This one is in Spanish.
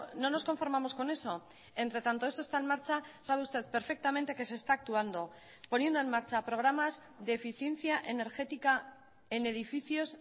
no nos conformamos con eso entre tanto eso está en marcha sabe usted perfectamente que se está actuando poniendo en marcha programas de eficiencia energética en edificios